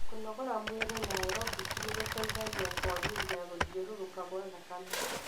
Kũnogora mwĩri na aerobic nĩgũteithagia kũagĩria gũthiũrũruka kwa thakame.